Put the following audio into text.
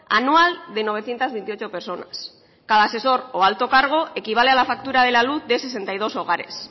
anual de novecientos veintiocho personas cada asesor o alto cargo equivale a la factura de la luz de sesenta y dos hogares